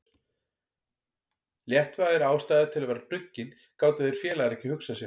Léttvægari ástæðu til að vera hnuggin gátu þeir félagar ekki hugsað sér.